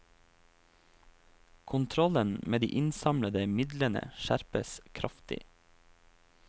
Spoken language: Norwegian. Kontrollen med de innsamlede midlene skjerpes kraftig.